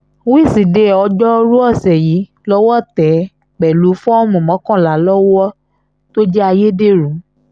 wíṣídẹ̀ẹ́ ọjọ́rùú ọ̀sẹ̀ yìí lọ́wọ́ tẹ̀ ẹ́ pẹ̀lú fọ́ọ̀mù mọ́kànlá lọ́wọ́ tó jẹ́ ayédèrú